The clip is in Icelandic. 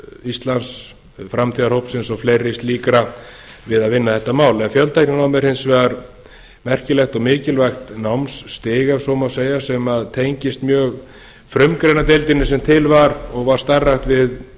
íslands framtíðarhópsins og fleiri slíkra við að vinna þetta mál fjöltækninám er hins vegar mikilvægt og merkilegt námsstig ef svo má segja sem tengist mjög frumgreinadeildinni sem til var og var starfrækt við